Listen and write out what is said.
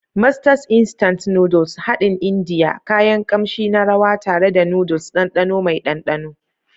Masters Instant Noodles haɗin Indiya, kayan kamshi na rawa tare da noodles, ɗanɗano mai ɗanɗano.